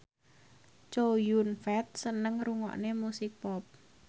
Chow Yun Fat seneng ngrungokne musik pop